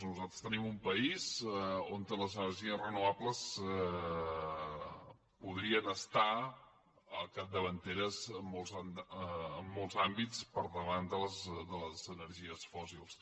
nosaltres tenim un país on les energies renovables podrien ser capdavanteres en molts àmbits per davant de les energies fòssils